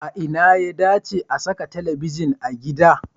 A ina ya dace a saka talabijin a gida?